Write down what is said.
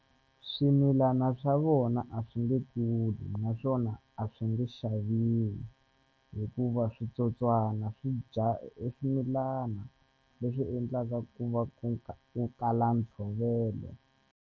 Swimilana swa vona a swi nge kuli naswona a swi nge xaviwi hikuva switsotswana swi dya e swimilana leswi endlaka ku va ku ku kala ntshovelo.